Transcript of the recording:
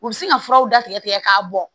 U bɛ se ka furaw datigɛ tigɛ k'a bɔ